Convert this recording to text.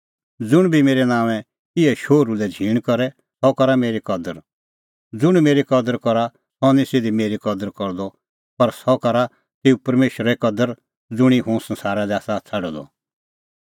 ज़ुंण बी मेरै नांओंऐं इहै शोहरूए कदर करे सह करा मेरी कदर ज़ुंण मेरी कदर करा सह निं सिधी मेरी कदर करदअ पर सह करा तेऊए कदर ज़ुंणी हुंह संसारा लै आसा छ़ाडअ द